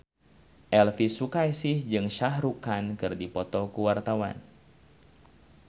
Elvy Sukaesih jeung Shah Rukh Khan keur dipoto ku wartawan